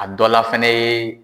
A dɔla fɛnɛ ye